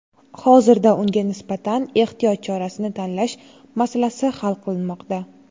Hozirda unga nisbatan ehtiyot chorasini tanlash masalasi hal qilinmoqda.